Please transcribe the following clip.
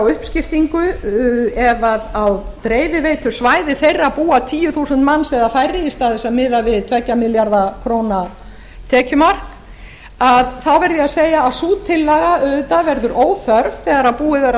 uppskiptingu ef á dreifiveitusvæði þeirra búa tíu þúsund manns eða færri í stað þess að miða við tvö ja milljarða króna tekjumark verð ég að segja að sú tillaga auðvitað verður óþörf þegar búið er að